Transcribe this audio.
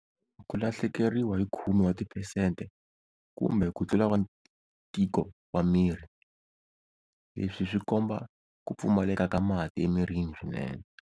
Ku lahlekeriwa hi khume wa tipesete kumbe kutlula wa ntiko wa miri, leswi swikomba ku pfumaleka ka mati emirini swinene.